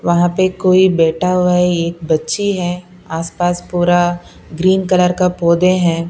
वहां पे कोई बैठा हुआ है एक बच्ची है आसपास पूरा ग्रीन कलर का पौधे हैं।